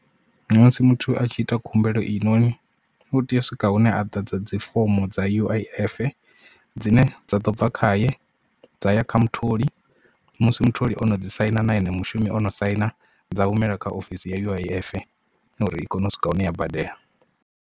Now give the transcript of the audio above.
Musi muthu a tshi ita khumbelo i noni u tea u swika hune a ḓadza dzifomo dza U_I_F dzine dza ḓo bva khaye dza ya kha mutholi musi mutholi ono dzi saina na ene mushumi o no saina dza humela kha ofisi ya U_I_F uri i kone u swika hune ya badela.